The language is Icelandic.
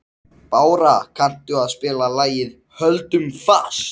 Bára, kanntu að spila lagið „Höldum fast“?